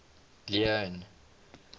leone